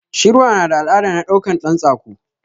Shirwa nada al'ada na ɗaukan ɗan tsako